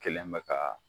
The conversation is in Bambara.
Kelen bɛ ka